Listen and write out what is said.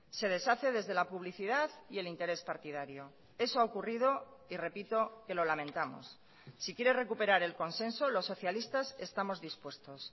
se deshace desde la publicidad y el interés partidario eso ha ocurrido y repito que lo lamentamos si quiere recuperar el consenso los socialistas estamos dispuestos